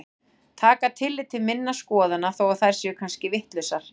Taka tillit til minna skoðana þó að þær séu kannski vitlausar.